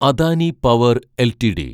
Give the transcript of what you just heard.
Adani power LTD